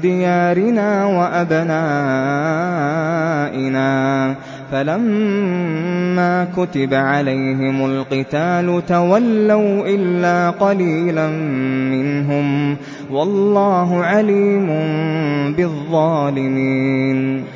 دِيَارِنَا وَأَبْنَائِنَا ۖ فَلَمَّا كُتِبَ عَلَيْهِمُ الْقِتَالُ تَوَلَّوْا إِلَّا قَلِيلًا مِّنْهُمْ ۗ وَاللَّهُ عَلِيمٌ بِالظَّالِمِينَ